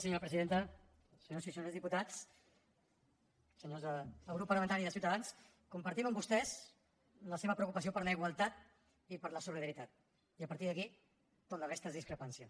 senyors del grup parlamentari de ciutadans compartim amb vostès la seva preocupació per la igualtat i per la solidaritat i a partir d’aquí tota la resta és discrepància